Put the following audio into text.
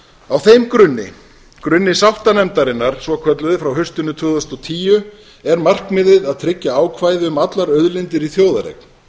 á þeim grunni grunni sáttanefndarinnar svokölluðu frá haustinu tvö þúsund og tíu er markmiðið að tryggja ákvæði um allar auðlindir í þjóðareign